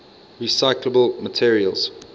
recyclable materials